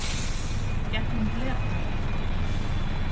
Gegnum glerþakið.